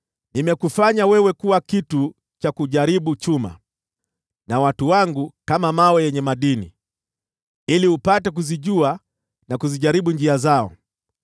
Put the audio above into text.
“Nimekufanya wewe kuwa kitu cha kujaribu chuma, nao watu wangu kama mawe yenye madini, ili upate kuzijua na kuzijaribu njia zao.